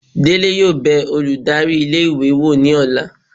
Dele yóò be olùdarí ilé ìwé wọ ní ọla